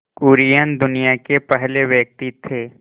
कुरियन दुनिया के पहले व्यक्ति थे